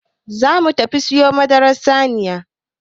Za mu tafi siyo madaran saniya.